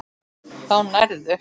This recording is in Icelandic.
Þá nærðu.